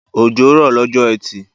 Òjò rọ lọ́jọ́ etì